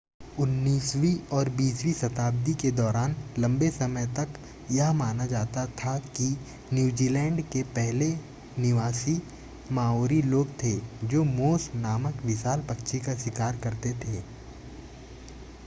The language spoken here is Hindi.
उन्नीसवीं और बीसवीं शताब्दी के दौरान लंबे समय तक यह माना जाता था कि न्यूजीलैंड के पहले निवासी माओरी लोग थे जोे मोस नामक विशाल पक्षी का शिकार करते थे